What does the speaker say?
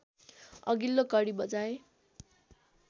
अघिल्लो कडी बजाए